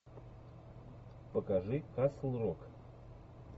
покажи касл рок